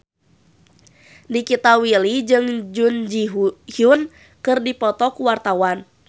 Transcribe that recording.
Nikita Willy jeung Jun Ji Hyun keur dipoto ku wartawan